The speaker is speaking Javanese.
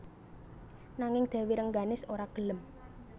Nanging Dèwi Rengganis ora gelem